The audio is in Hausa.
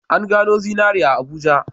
An gano zinari a Abuja.